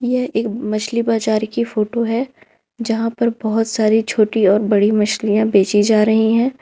यह एक मछली बाजार की फोटो है जहां पर बहुत सारी छोटी और बड़ी मछलियां बेची जा रही हैं।